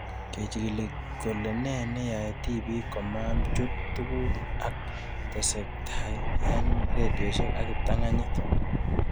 Kechig'ile kole nee neyae tipik komachut tuguk ab tesetaiabkei eng' redioshek ak kiptang'anyit